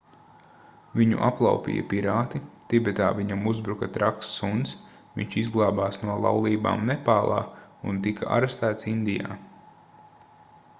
viņu aplaupīja pirāti tibetā viņam uzbruka traks suns viņš izglābās no laulībām nepālā un tika arestēts indijā